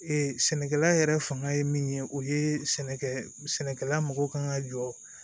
sɛnɛkɛla yɛrɛ fanga ye min ye o ye sɛnɛkɛ sɛnɛkɛla mɔgɔw kan ka jɔ